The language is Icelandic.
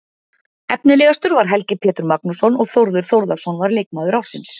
Efnilegastur var Helgi Pétur Magnússon og Þórður Þórðarson var leikmaður ársins.